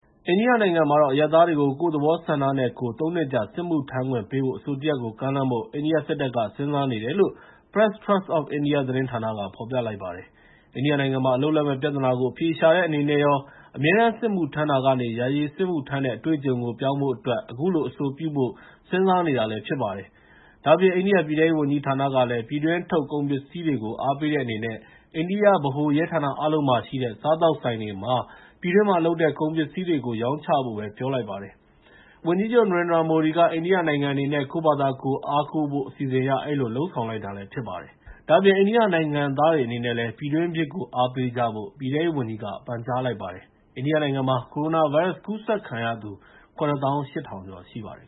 အိန္ဒိယနိုင်ငံမှာ အရပ်သားတွေကို ကိုယ့်သဘောဆန္ဒနဲ့ကိုယ် ၃ နှစ်ကြာ စစ်မှုထမ်းခွင့်ပေးမယ့် အဆိုတရပ်ကို ကမ်းလှမ်းဖို့ အိန္ဒိယစစ်တပ်က စဉ်းစားနေတယ်လို့ Press Trust of India သတင်းဌာနက ဖော်ပြလိုက်ပါတယ်။ အိန္ဒိယနိုင်ငံမှာ အလုပ်လက်မဲ့ ပြဿနာကို အဖြေရှာတဲ့အနေနဲ့ရော၊ အမြဲတမ်းစစ်မှုထမ်းတာကနေ ယာယီစစ်မှုထမ်းတဲ့ အတွေ့အကြုံကို ပြောင်းဖို့အတွက် အခုလိုအဆိုပြုဖို့ စဉ်းစားနေတာဖြစ်ပါတယ်။ ဒါ့အပြင် အိန္ဒိယပြည်ထဲရေးဝန်ကြီးဌာနကလည်း ပြည်တွင်းထုတ် ကုန်ပစ္စည်းတွေကို အားပေးတဲ့အနေနဲ့ အိန္ဒိယဗဟိုရဲဌာနအားလုံးမှာ ရှိတဲ့ စားသောက်ဆိုင်တွေမှာ ပြည်တွင်းမှာလုပ်တဲ့ ကုန်ပစ္စည်းတွေကိုပဲ ရောင်းချဖို့ ပြောလိုက်ပါတယ်။ ကိုယ့်ပြည်တွင်းကို အားကိုးဖို့ဆိုတဲ့ ဝန်ကြီးချုပ် နရင်ဒရာ မိုဒီရဲ့ အစီအစဉ်အရ အဲဒီလိုလုပ်ဆောင်လိုက်တာပါ။ ဒါ့အပြင် အိန္ဒိယနိုင်ငံသားတွေအနေနဲ့လည်း ပြည်တွင်းဖြစ်ကို အားပေးကြဖို့ ပြည်ထဲရေးဝန်ကြီးဌာနက ပန်ကြားထားပါတယ်။ အိန္ဒိယနိုင်ငံမှာ ကိုရိုနာဗိုင်းရပ်စ်ကူးစက်ခံရသူ ၇၈,၀၀၀ ကျော်ရှိပါတယ်